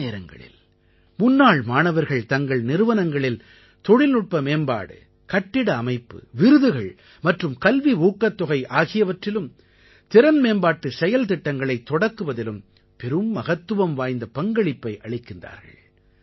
பல நேரங்களில் முன்னாள் மாணவர்கள் தங்கள் நிறுவனங்களில் தொழில்நுட்ப மேம்பாடு கட்டிட அமைப்பு விருதுகள் மற்றும் கல்வி ஊக்கத்தொகை ஆகியவற்றிலும் திறன் மேம்பாட்டு செயல்திட்டங்களைத் தொடக்குவதிலும் பெரும் மகத்துவம் வாய்ந்த பங்களிப்பை அளிக்கிறார்கள்